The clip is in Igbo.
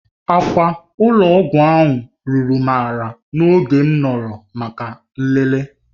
Akwa ụlọ ọgwụ ahụ ruru m ala n'oge m nọrọ maka nlele.